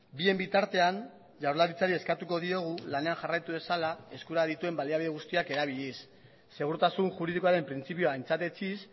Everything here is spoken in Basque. bien bitartean jaurlaritzari eskatuko diogu lanean jarraitu dezala eskura dituen baliabide guztiak erabiliz segurtasun juridikoaren printzipioa aintzat etsiz